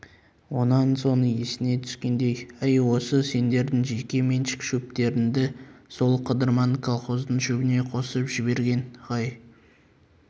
онан соң есіне түскендей әй осы сендердің жеке меншік шөптеріңді сол қыдырман колхоздың шөбіне қосып жіберген көрінеді ғай